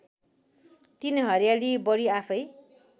३ हरियाली बढी आफैँ